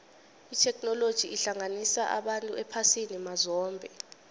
itheknoloji ihlanganisa abantu ephasini mazombe